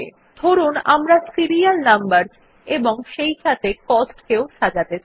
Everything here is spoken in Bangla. ধরুন আমরা সিরিয়াল নাম্বারস এবং সেইসাথে cost কেও সাজাতে চাই